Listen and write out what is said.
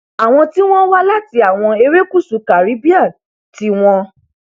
àwọn tí wọn wá láti àwọn erékùṣù caribbean tí wọn